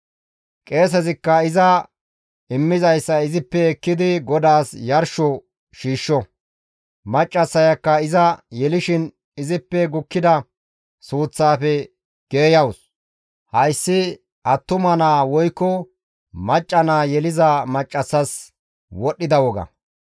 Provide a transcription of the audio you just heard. Qeesezikka iza immizayssa izippe ekkidi GODAAS yarsho shiishsho; maccassayakka iza yelishin izippe gukkida suuththaafe geeyawus; hayssi attuma naa woykko macca naa yeliza maccassas wodhdhida woga.